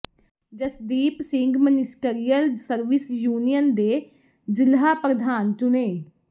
Jasdeep Singh ministerial service union ਦੇ ਜ਼ਿਲ੍ਹਾ ਪ੍ਰਧਾਨ ਚੁਣੇ